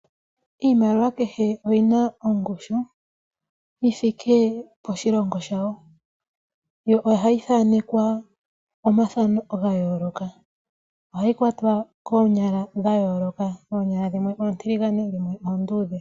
Iimaliwa kehe oyina ongushu yithike poshilongo shawo yo ohayi thanekwa omathamo ga yooloka. Ohayi kwatwa koonyala dha yooloka ,oonyala dhimwe oontiligane dhimwe oonduudhe.